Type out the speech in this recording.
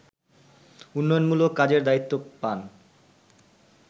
উন্নয়নমূলক কাজের দায়িত্ব পান